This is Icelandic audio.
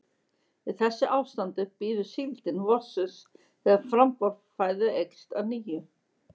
Í þessu ástandi bíður síldin vorsins þegar framboð fæðu eykst að nýju.